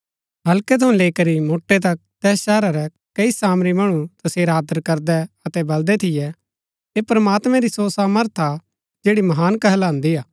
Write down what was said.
हल्के थऊँ लैई करी मोटै तक तैस शहरा रै कई सामरी मणु तसेरा आदर करदै अतै बलदै थियै ऐह प्रमात्मैं री सो सामर्थ हा जैड़ी महान कहलान्दी हा